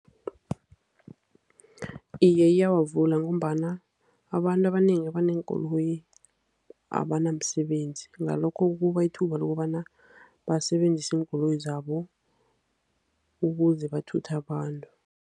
Iye, iyawavula. Ngombana abantu abanengi abaneenkoloyi abanamsebenzi. Ngalokho kubapha ithuba lokobana basebenzise iinkoloyi zabo ukuze bathuthe abantu.